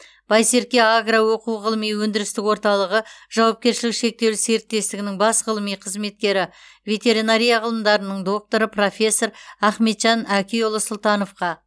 байсерке агро оқу ғылыми өндірістік орталығы жауапкершілігі шектеулі серіктестігінің бас ғылыми қызметкері ветеринария ғылымдарының докторы профессор ахметжан әкиұлы сұлтановқа